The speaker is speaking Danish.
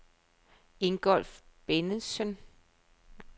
Ingolf Bennetsen